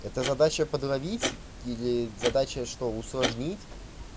это задача подловить или задача что усложнить